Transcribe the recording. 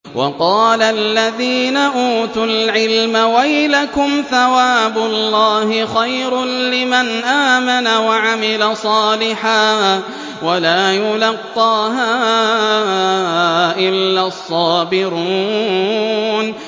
وَقَالَ الَّذِينَ أُوتُوا الْعِلْمَ وَيْلَكُمْ ثَوَابُ اللَّهِ خَيْرٌ لِّمَنْ آمَنَ وَعَمِلَ صَالِحًا وَلَا يُلَقَّاهَا إِلَّا الصَّابِرُونَ